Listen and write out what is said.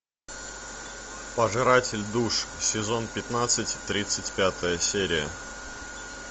пожиратель душ сезон пятнадцать тридцать пятая серия